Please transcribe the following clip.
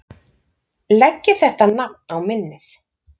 Leggið þetta nafn á minnið